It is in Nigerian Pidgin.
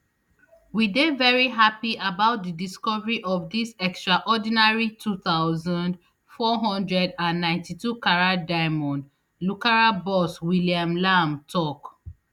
we dey very happy about di recovery of dis extraordinary two thousand, four hundred and ninety-two carat diamond lucara boss william lamb tok